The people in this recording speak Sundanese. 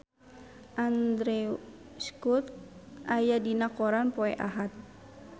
Andrew Scott aya dina koran poe Ahad